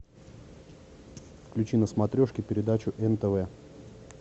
включи на смотрешке передачу нтв